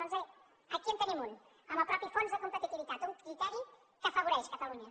doncs bé aquí en tenim un en el mateix fons de competitivitat un criteri que afavoreix catalunya